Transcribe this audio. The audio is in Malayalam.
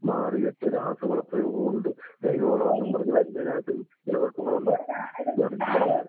മാറിയിട്ട് രാസവള പ്രയോഗവുമുണ്ട് ജൈവവളമാണെന്ന് പറഞ്ഞ് വരുന്നതിനകത്തും ഇങ്ങനെ കുഴപ്പങ്ങളുണ്ട്. ഇതാണ് എനിക്ക് പറയാനുള്ളത്